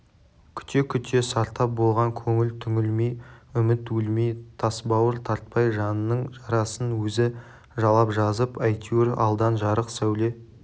күте-күте сартап болған көңіл түңілмей үміт өлмей тасбауыр тартпай жанының жарасын өзі жалап жазып әйтеуір алдан жарық сәуле